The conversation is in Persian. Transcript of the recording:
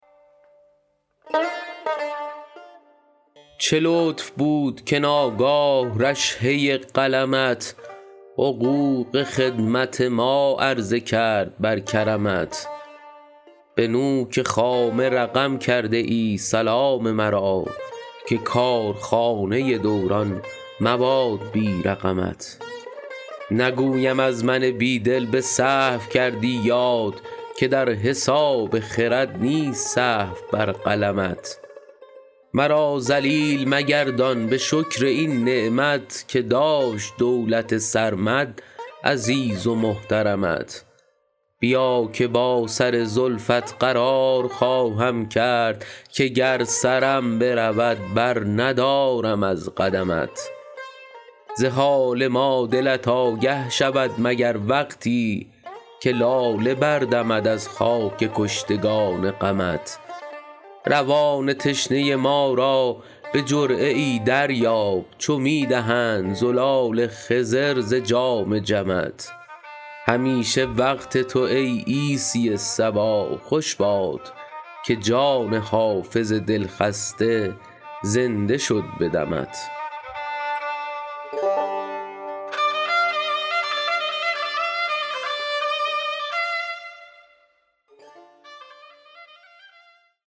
چه لطف بود که ناگاه رشحه قلمت حقوق خدمت ما عرضه کرد بر کرمت به نوک خامه رقم کرده ای سلام مرا که کارخانه دوران مباد بی رقمت نگویم از من بی دل به سهو کردی یاد که در حساب خرد نیست سهو بر قلمت مرا ذلیل مگردان به شکر این نعمت که داشت دولت سرمد عزیز و محترمت بیا که با سر زلفت قرار خواهم کرد که گر سرم برود برندارم از قدمت ز حال ما دلت آگه شود مگر وقتی که لاله بردمد از خاک کشتگان غمت روان تشنه ما را به جرعه ای دریاب چو می دهند زلال خضر ز جام جمت همیشه وقت تو ای عیسی صبا خوش باد که جان حافظ دلخسته زنده شد به دمت